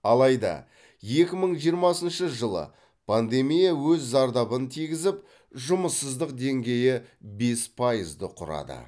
алайда екі мың жиырмасыншы жылы пандемия өз зардабын тигізіп жұмыссыздық деңгейі бес пайызды құрады